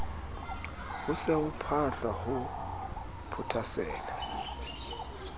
se ho phahlwa ho phothasela